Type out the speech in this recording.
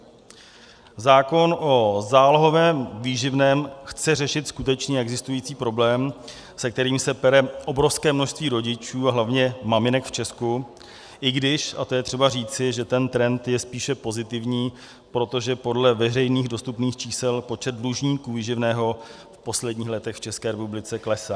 Zákon o zálohovém výživném chce řešit skutečně existující problém, se kterým se pere obrovské množství rodičů a hlavně maminek v Česku, i když, a to je třeba říci, že ten trend je spíše pozitivní, protože podle veřejných dostupných čísel počet dlužníků výživného v posledních letech v České republice klesá.